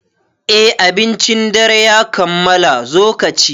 Eh, abincin dare ya kammala, zo kaci